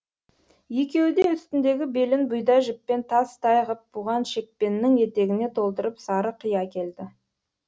екеуі де үстіндегі белін бұйда жіппен тас тай ғып буған шекпеннің етегіне толтырып сары қи әкелді